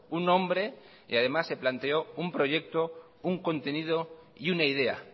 un nombre y además se planteó un proyecto un contenido y una idea